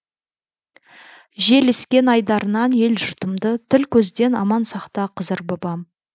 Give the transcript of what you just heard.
жел ескен айдарынан ел жұртымды тіл көзден аман сақта қызыр бабам